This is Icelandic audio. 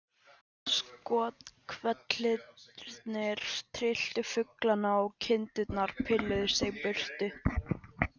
Skothvellirnir trylltu fuglana og kindurnar pilluðu sig burtu.